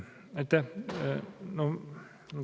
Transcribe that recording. Aitäh!